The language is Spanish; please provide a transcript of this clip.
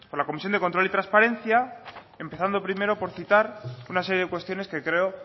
la comisión de control y transparencia empezando primero por citar una serie de cuestiones que creo